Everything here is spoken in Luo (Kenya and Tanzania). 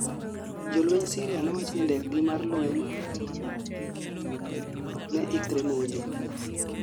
jolweny Syria nowachni ndekgi mar lweny ne ikre monjo